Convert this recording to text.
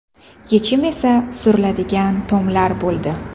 Yechim esa suriladigan tomlar bo‘ldi.